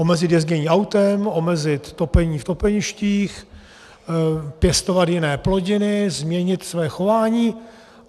Omezit jezdění autem, omezit topení v topeništích, pěstovat jiné plodiny, změnit své chování.